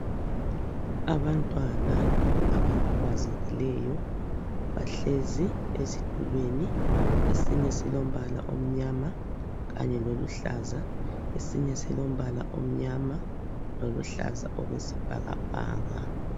Abantwana abakhubazekileyo bahlezi ezitulweni. Esinye silombala omnyama kanye loluhlaza, esinye silombala omnyama loluhlaza okwesibhakabhaka